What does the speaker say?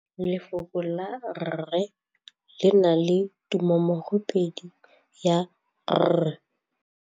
Lefoko la rre le na le tumammogôpedi ya, r.